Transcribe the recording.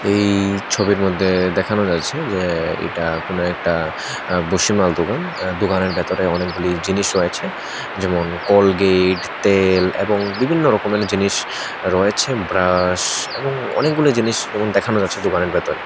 এই ছবির মধ্যে দেখানো যাচ্ছে যে এইটা কোনো একটা আঃ বসি মাল দোকান আঃ দোকানের ভিতরে অনেকগুলি জিনিস রয়েছে যেমন- কলগেট তেল এবং বিভিন্ন রকমের জিনিস রয়েছে ব্রাশ এবং অনেকগুলো জিনিস যেমন দেখানো যাচ্ছে দোকানের ভেতরে।